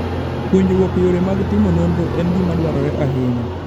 Puonjruok yore mag timo nonro en gima dwarore ahinya.